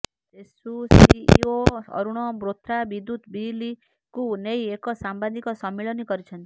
ସେସୁ CEO Arun Bothra ବିଦ୍ୟୁତ ବିଲକୁ ନେଇ ଏକ ସାମ୍ବାଦିକ ସମ୍ମିଳନୀ କରିଛନ୍ତି